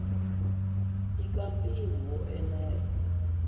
i ka mpimo wo enela